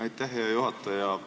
Aitäh, hea juhataja!